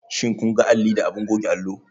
Shin kun ga alli da abin goge allo?